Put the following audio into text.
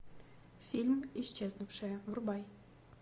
фильм исчезнувшая врубай